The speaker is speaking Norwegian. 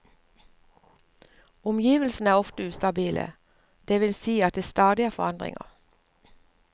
Omgivelsene er ofte ustabile, det vil si at det stadig er forandringer.